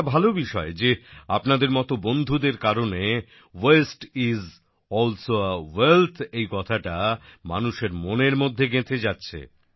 এটা ভালো বিষয় যে আপনাদের মত বন্ধুদের কারণে waste is also a wealth এই কথাটা মানুষের মনের মধ্যে গেঁথে যাচ্ছে